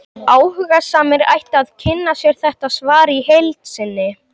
Áhugasamir ættu að kynna sér þetta svar í heild sinni.